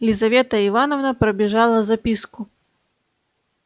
лизавета ивановна пробежала записку